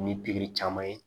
Ni pikiri caman ye